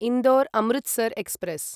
Indore Amritsar express